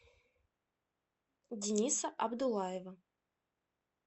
дениса абдуллаева